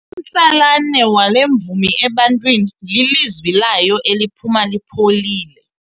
Umtsalane wale mvumi ebantwini lilizwi layo eliphuma lipholile.